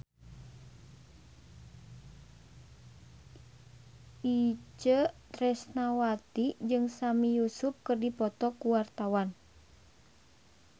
Itje Tresnawati jeung Sami Yusuf keur dipoto ku wartawan